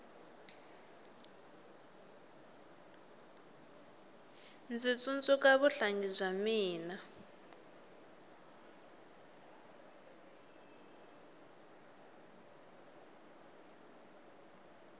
ndzi tsundzuka vuhlangi bya mina